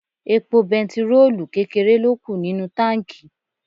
Epo bẹntiróòlù kékeré ló kù nínú táǹkì.